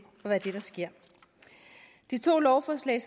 at ske de to lovforslag